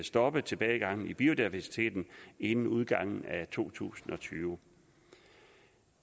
stoppe tilbagegangen i biodiversiteten inden udgangen af to tusind og tyve